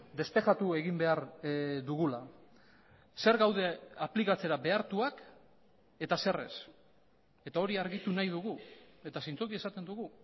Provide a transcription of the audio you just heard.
despejatu egin behar dugula zer gaude aplikatzera behartuak eta zer ez eta hori argitu nahi dugu eta zintzoki esaten dugu